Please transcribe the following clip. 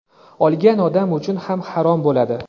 Olgan odam uchun ham harom bo‘ladi.